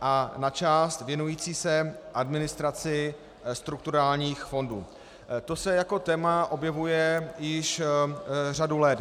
a na část věnující se administraci strukturálních fondů, to se jako téma objevuje již řadu let.